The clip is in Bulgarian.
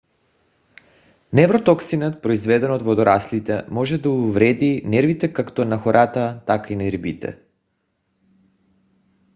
невротоксинът произведен от водораслите може да увреди нервите както на хората така и на рибите